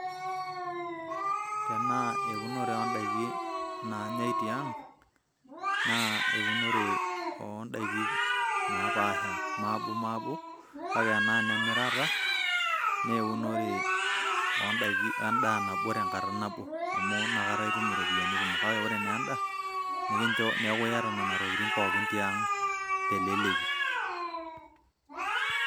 Tenaa eunore odaiki naanyai tiang',naa eunore odaiki napaasha. Maabomaabo, kake tenaa inemirata, na eunore wendaa nabo tenkata nabo. Amu nakata itum iropiyiani kumok. Kake ore naa enda, nikincho neeku yata nena tokiting' pookin tiang' teleleki.